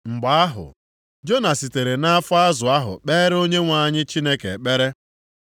Mgbe ahụ, Jona sitere nʼafọ azụ ahụ kpeere Onyenwe anyị Chineke ekpere.